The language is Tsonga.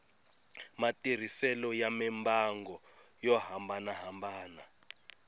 matirhiselo ya mimbangu yo hambanahambana